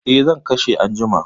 Eh, zan kashe anjima.